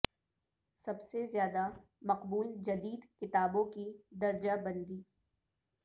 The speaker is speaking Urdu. سب سے زیادہ مقبول جدید کتابوں کی درجہ بندی